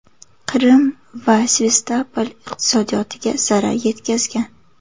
Qrim va Sevastopol iqtisodiyotiga zarar yetkazgan.